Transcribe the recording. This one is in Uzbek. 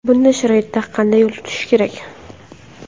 Bunday sharoitda qanday yo‘l tutish kerak?